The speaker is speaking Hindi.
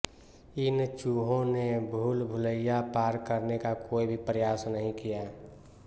इन चूहों ने भूलभुलइया पार करने का कोई भी प्रयास नहीं किया